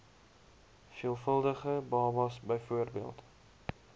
veelvuldige babas bv